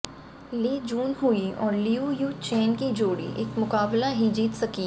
लि जून हुई और लियू यू चेन की जोड़ी एक मुकाबला ही जीत सकी